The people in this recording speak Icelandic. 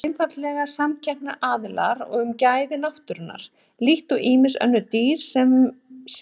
Þetta eru einfaldlega samkeppnisaðilar um gæði náttúrunnar, líkt og ýmis önnur dýr svo sem selir.